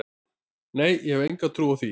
Nei, ég hef enga trú á því.